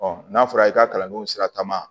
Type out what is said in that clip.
n'a fɔra i ka kalandenw sira ta ma